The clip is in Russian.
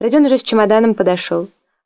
родион уже с чемоданом подошёл